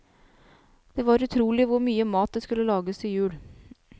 Det var utrolig hvor mye mat det skulle lages til jul.